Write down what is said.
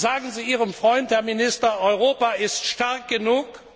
Sagen Sie Ihrem Freund, Herr Minister, Europa ist stark genug